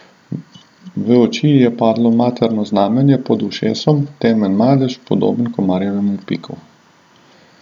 V oči ji je padlo materno znamenje pod ušesom, temen madež, podoben komarjevemu piku.